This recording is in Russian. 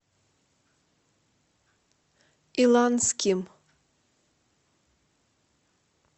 иланским